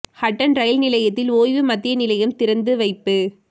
Hatton rail நிலையத்தில் ஓய்வு மத்திய நிலையம் திறந்து வைப்பு